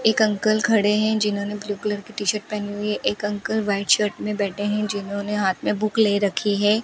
एक अंकल खड़े हैं जिन्होंने ब्लू कलर की टी शर्ट पहनी हुई है एक अंकल व्हाइट शर्ट में बैठे हैं जिन्होंने हाथ में बुक ले रखी है।